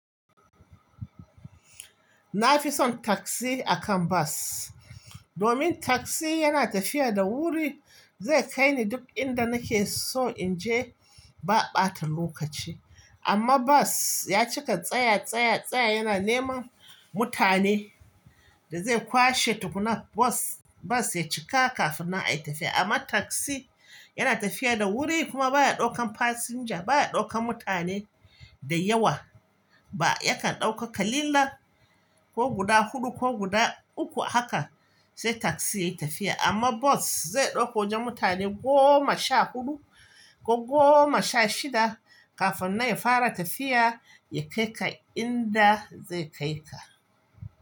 Na fi son taksi akan bas domin taksi yana tafiya da wuri, zai kai ni duk inda nake so in je ba ɓatan lokaci. Amma bas ya cika tsaya, tsaya, tsaya yana neman mutane da zai kwashe tukuna bas ya cika kafin nan ayi tafiya. Amma taksi yana tafiya da wuri kuma baya ɗaukan fasinja baya ɗaukan mutane da yawa ba, yakan ɗauka kalilan ko guda huɗu ko guda uku haka sai taksi ya yi tafiya. Amma bas zai ɗauko wajan mutane goma sha huɗu ko goma sha shida kafin nan ya fara tafiya, ya kai ka inda zai kai ka.